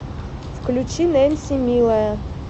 включи нэнси милая